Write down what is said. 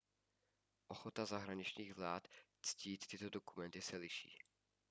ochota zahraničních vlád ctít tyto dokumenty se liší